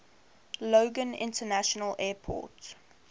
logan international airport